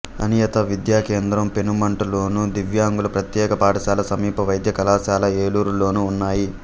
అనియత విద్యా కేంద్రం పెనుమంట లోను దివ్యాంగుల ప్రత్యేక పాఠశాల సమీప వైద్య కళాశాల ఏలూరు లోనూ ఉన్నాయి